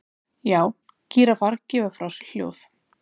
Já, gíraffar gefa frá sér hljóð.